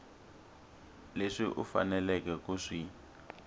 leswi u faneleke ku swi